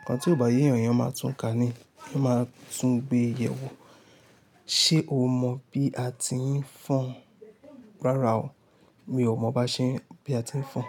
Ǹkan tí ò bá yé èyàn, èyàn máa tun kà ni, èyàn máa tun gbe yẹ̀ wò. Ṣé o mọ bí a ti ń fọn? Rárá o, mi ò mọ ba ṣe ń, bí a ti ń fọn.